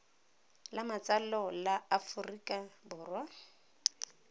la matsalo la aforika borwa